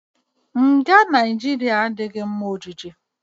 Nga Naijiria adịghị mma ọjije.